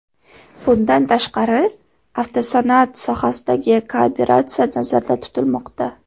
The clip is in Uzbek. Bundan tashqari, avtosanoat sohasidagi kooperatsiya nazarda tutilmoqda.